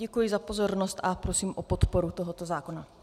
Děkuji za pozornost a prosím o podporu tohoto zákona.